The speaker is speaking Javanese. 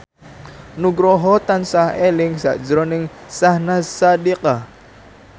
Nugroho tansah eling sakjroning Syahnaz Sadiqah